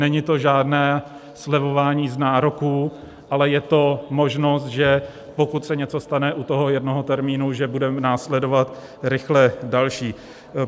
Není to žádné slevování z nároků, ale je to možnost, že pokud se něco stane u toho jednoho termínu, že bude následovat rychle další.